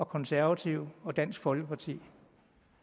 konservative og dansk folkeparti